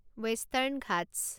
western Ghats